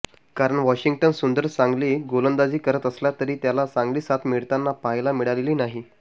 कारण वॉशिंग्टन सुंदर चांगली गोलंदाजी करत असला तरी त्याला चांगली साथ मिळताना पाहायला मिळालेली नाही